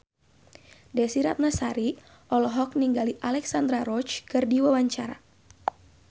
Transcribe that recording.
Desy Ratnasari olohok ningali Alexandra Roach keur diwawancara